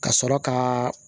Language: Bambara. Ka sɔrɔ ka